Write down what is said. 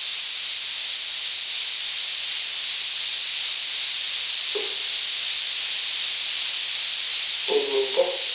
एक minute हं.